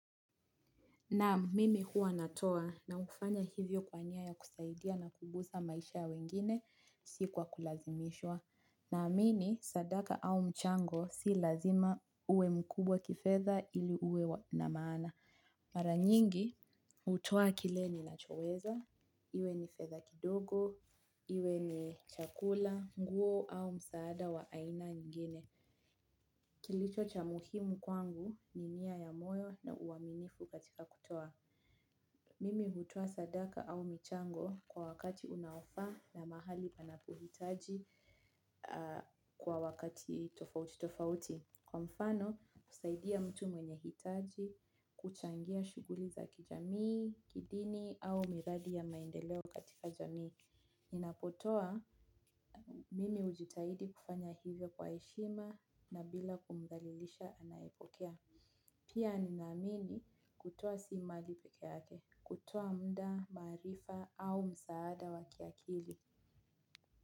Naam mimi huwa na toa na kufanya hivyo kwa kusaidia na kuboreshsa maisha ya wengine si kwa kulazimishwa. Na amini sadaka au mchango si lazima uwe mkubwa kifedha ili uwe na maana. Mara nyingi hutoa kile ni nachoweza, iwe ni fedha kidogo, iwe ni chakula, nguo au msaada wa aina nyingine. Kilicho cha muhimu kwangu ni nia ya moyo na uaminifu katika kutoa. Mimi hutoa sadaka au michango kwa wakati unaofaa na mahali panapohitaji kwa wakati tofauti tofauti. Kwa mfano, kusaidia mtu mwenye hitaji kuchangia shuguli za kijamii, kidini au miradi ya maendeleo katika jamii. Ninapotoa mimi hujitahidi kufanya hivyo kwa heshima na bila kumdhalilisha anayepokea. Pia ninaamini kutoa si mali peke yake. Kutoa muda maarifa au msaada wakiakili.